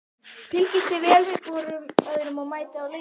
Fylgist þið vel með hvorum öðrum og mætið á leiki?